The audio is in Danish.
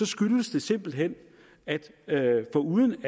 skyldes det simpelt hen at det foruden